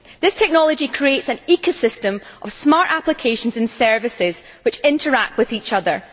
This technology creates an ecosystem of smart applications and services which interact with each other.